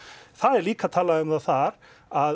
það er líka talað um það þar að